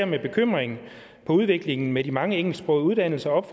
med bekymring på udviklingen med de mange engelsksprogede uddannelser og